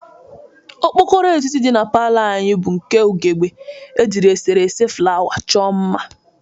Okpokoro etiti dị na palọ anyị bụ nke ughebe e jiri eserese flawa chọ mma.